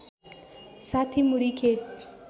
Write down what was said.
६० मुरी खेत